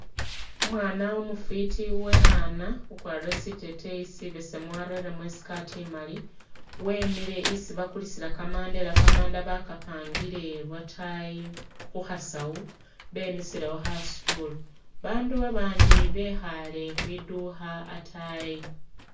Umwana umufiti uwekhana ukwarire siteteyi sibesemu wareremo i'skirt imali wemile isi bakulisila kamanda ela kamanda bakapangile lwatayi khu khasawu bemisilewo kha stool, abandu babandi bekhaale khwidukha atayi